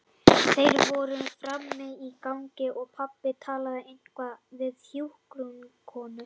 Þeir fóru fram á gang og pabbi talaði eitthvað við hjúkrunarkonu.